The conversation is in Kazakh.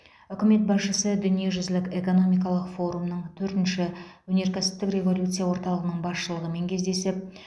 үкімет басшысы дүниежүзілік экономикалық форумның төртінші өнеркәсіптік революция орталығының басшылығымен кездесіп